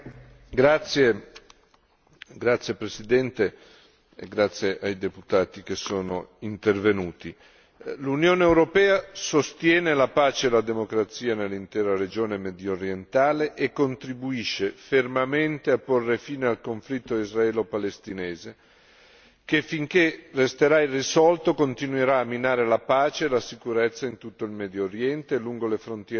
Signor Presidente, onorevoli deputati, grazie ai colleghi che sono intervenuti. L'Unione europea sostiene la pace e la democrazia nell'intera regione mediorientale e contribuisce fermamente a porre fine al conflitto israelo palestinese che, finché resterà irrisolto, continuerà a minare la pace e la sicurezza in tutto il Medio Oriente e lungo le frontiere meridionali dell'Unione.